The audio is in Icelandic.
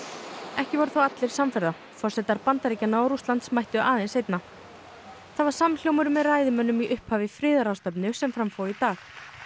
ekki voru þó allir samferða forsetar Bandaríkjanna og Rússlands mættu aðeins seinna það var samhljómur með ræðumönnum í upphafi friðarráðstefnu sem fram fór í dag